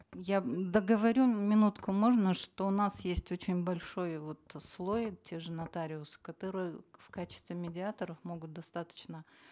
я договорю минутку можно что у нас есть очень большой вот слой те же нотариусы которые в качестве медиаторов могут достаточно